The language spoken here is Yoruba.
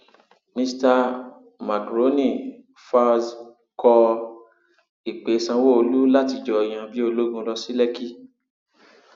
mista makrónì falz kọ ìpè sanwóolu láti jọ yan bíi ológun lọ sí lèkì